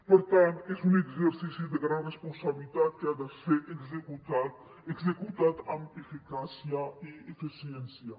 per tant és un exercici de gran responsabilitat que ha de ser executat amb eficàcia i eficiència